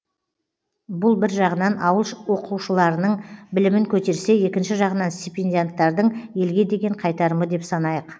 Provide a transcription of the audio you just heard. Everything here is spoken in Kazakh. бұл бір жағынан ауыл оқушыларының білімін көтерсе екінші жағынан стипендианттардың елге деген қайтарымы деп санайық